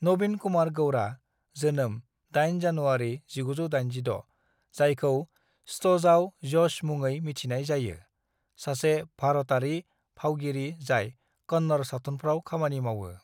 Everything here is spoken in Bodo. "नवीन कुमार गौड़ा (जोनोम 8 जानुवारी 1986), जायखौ स्टजआव यश मुङै मिथिनाय जायो, सासे भारतारि फावगिरि जाय कन्नड़ सावथुनफ्राव खामानि मावो।"